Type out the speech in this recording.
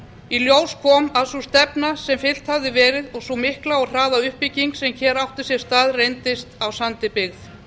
í ljós kom að sú stefna sem fylgt hafði verið og sú mikla og hraða uppbygging sem hér átti sér stað reyndist á sandi byggð